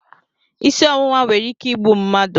Isi ọwụwa nwere ike igbu mmadụ